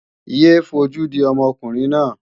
Yé é fojú di ọmọkùnrin náà!